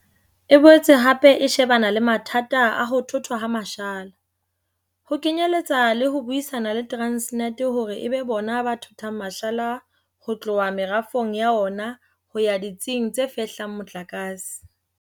E boetse hape e shebana le mathata a ho thothwa ha mashala, ho kenyeletsa le ho buisana le Transnet hore e be bona ba thothang mashala ho tloha merafong ya ona ho ya ditsing tse fehlang motlakase.